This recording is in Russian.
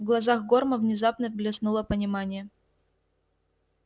в глазах горма внезапно блеснуло понимание